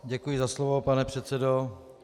Děkuji za slovo, pane předsedo.